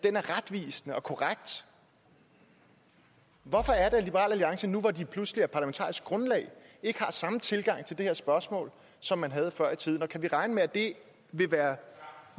er retvisende og korrekt hvorfor er det at liberal alliance nu hvor det pludselig er parlamentarisk grundlag ikke har samme tilgang til det her spørgsmål som man havde før i tiden og kan vi regne med at det vil være